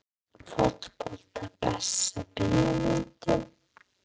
Fótbolti Besta bíómyndin?